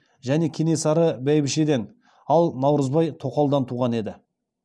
және кенесары бәйбішеден ал наурызбай тоқалдан туған еді